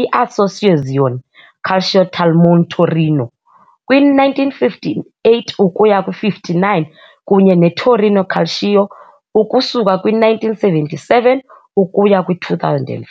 "i-Associazione Calcio Talmone Torino" kwi-1958-59 kunye ne "-Torino Calcio" ukusuka kwi-1977 ukuya kwi-2005.